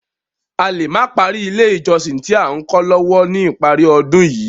A lè má parí ilé ìjọsìn tí à ń kó lọ lọ́wọ́ ní ìparí ọdún yìí.